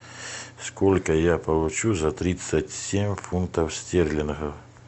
сколько я получу за тридцать семь фунтов стерлингов